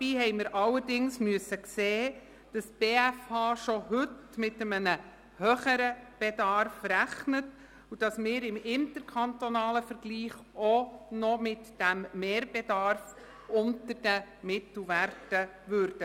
Wir mussten allerdings sehen, dass die BFH schon heute mit einem grösseren Flächenbedarf rechnet, und dass wir im interkantonalen Vergleich auch noch mit diesem Mehrbedarf unter den Mittelwerten bleiben würden.